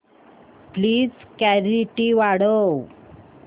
please clarity वाढव